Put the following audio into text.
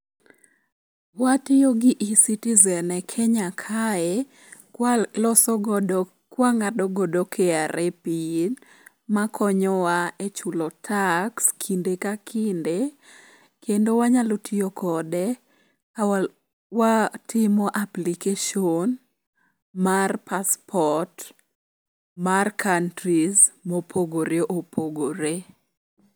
Watiyo gi eCitizen e Kenya kae kwang'ado godo KRA pin makonyowa e chulo tax kinde ka kinde, kendo wanyalo tiyo kode ka watimo application mar passport mar countries mopogore opogore.